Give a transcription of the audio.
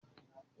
Má mu ọtí líle mọ.